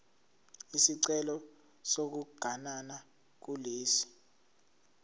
isicelo sokuganana kulesi